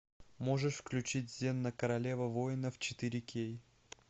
можешь включить зена королева воинов четыре кей